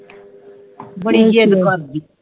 ਆਹ